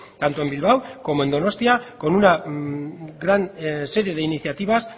tanto en bilbao como en donostia con una gran serie de iniciativas